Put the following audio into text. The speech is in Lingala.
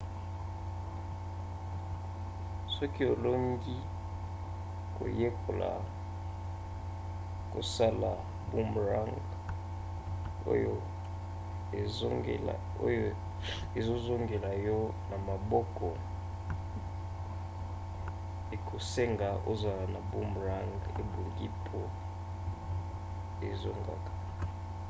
soki olingi koyekola kosala boomerang oyo ezozongela yo na maboko ekosenga ozala na boomerang ebongi mpo ezongaka